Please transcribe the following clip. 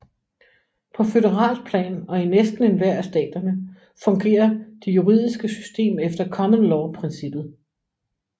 På føderalt plan og i næsten enhver af staterne fungerer det juridiske system efter common law princippet